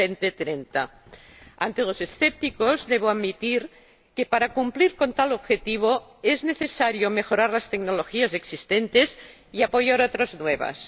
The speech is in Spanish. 2030. Ante los escépticos debo admitir que, para cumplir con tal objetivo, es necesario mejorar las tecnologías existentes y apoyar otras nuevas.